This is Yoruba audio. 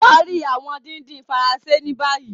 Parí awọn dídín Faransé ní bàyìí.